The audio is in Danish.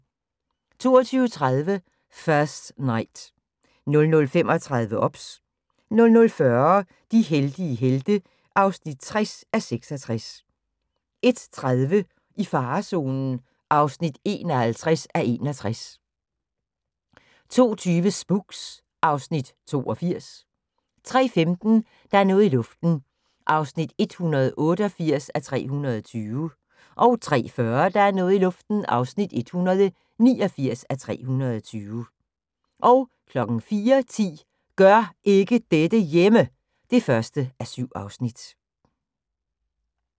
22:30: First Knight 00:35: OBS 00:40: De heldige helte (60:66) 01:30: I farezonen (51:61) 02:20: Spooks (Afs. 82) 03:15: Der er noget i luften (188:320) 03:40: Der er noget i luften (189:320) 04:10: Gør ikke dette hjemme! (1:7)